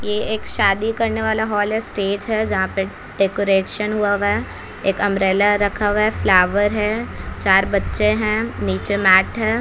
ये एक शादी करने वाला हॉल है स्टेज है जहाँ पे डेकोरेशन हुआ है एक अम्ब्रेला रखा हुआ है फ्लावर है चार बच्चे हैं नीचे मैट है।